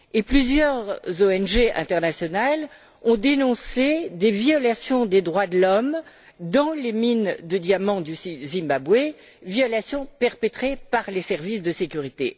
Plusieurs ONG internationales ont dénoncé des violations des droits de l'homme dans les mines de diamant du Zimbabwe, violations perpétrées par les services de sécurité.